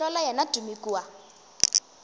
go hlola yena tumi kua